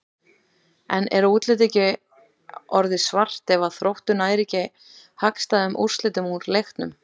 En er útlitið ekki orðið svart ef að Þróttur nær ekki hagstæðum úrslitum úr leiknum?